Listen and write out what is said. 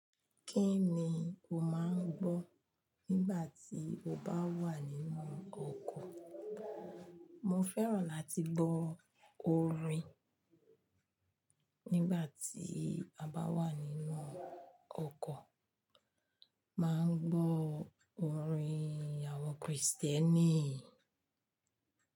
Kí ni o máa ń gbọ́ nígbà tí o bá wà nínú ọkọ̀? Mo fẹ́ràn láti gbọ́ orin nígbà tí a bá wà nínú ọkọ̀. Máa ń gbọ́ orin àwọn Kristẹni.